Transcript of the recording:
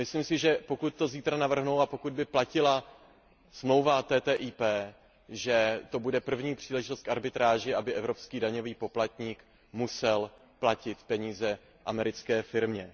Myslím si, že pokud to zítra navrhnou a pokud by platila smlouva TTIP, že to bude první příležitost k arbitráži, aby evropský daňový poplatník musel platit peníze americké firmě.